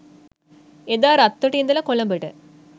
එදා රත්තොට ඉඳලා කොළඹට